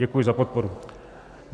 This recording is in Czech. Děkuji za podporu.